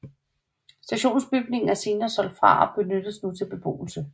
Stationsbygningen er senere solgt fra og benyttes nu til beboelse